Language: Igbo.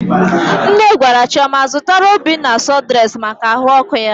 Nne gwara Chioma zụtara Obinna sụdụres maka ahụ ọkụ ya.